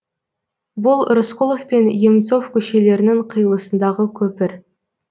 бұл рысқұлов пен емцов көшелерінің қиылысындағы көпір